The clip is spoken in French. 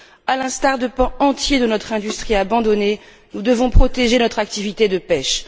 À l'instar de pans entiers de notre industrie abandonnée, nous devons protéger notre activité de pêche.